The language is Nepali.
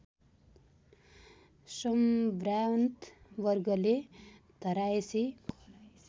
सम्भ्रान्त वर्गले घरायसी